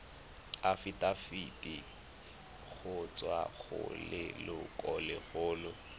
afitafiti go tswa go lelokolegolo